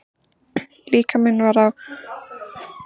Líkaminn var að ánetjast en ég tók ekki eftir því.